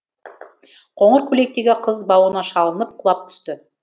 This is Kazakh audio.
қоңыр көйлектегі қыз бауына шалынып құлап түсті